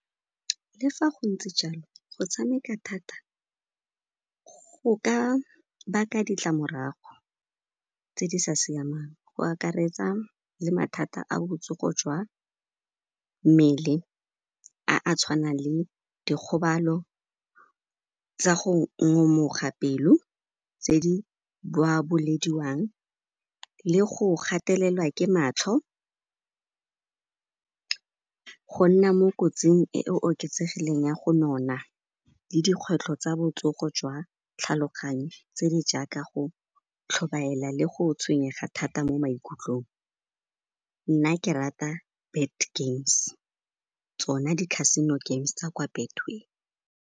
Le fa go ntse jalo, go tshameka thata go ka baka ditlamorago tse di sa siamang, go akaretsa le mathata a botsogo jwa mmele a a tshwanang le dikgobalo tsa go ngomoga pelo tse di boabolediwang le go gatelelwa ke matlho, go nna mo kotsing e e oketsegileng ya go nona le dikgwetlho tsa botsogo jwa tlhaloganyo tse di jaaka go tlhobaela le go tshwenyega thata mo maikutlong. Nna ke rata Bet Games, tsona di Casino Games tsa kwa Betway.